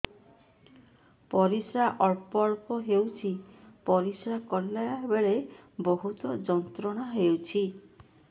ପରିଶ୍ରା ଅଳ୍ପ ଅଳ୍ପ ହେଉଛି ପରିଶ୍ରା କଲା ବେଳେ ବହୁତ ଯନ୍ତ୍ରଣା ହେଉଛି